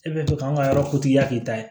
E bɛ to k'an ka yɔrɔ k'i ta ye